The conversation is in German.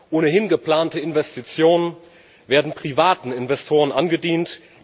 Ohnehin geplante Investitionen werden privaten Investoren angedient.